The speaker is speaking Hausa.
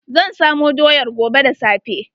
Zan samo doyar gobe da safe.